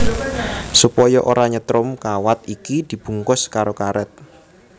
Supaya ora nyetrum kawat iki dibungkus karo karét